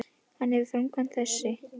Hvað tefur framkvæmd þess?